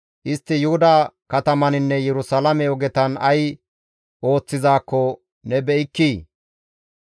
Istti Yuhuda katamataninne Yerusalaame ogetan ay ooththizaakko ne be7ikkii?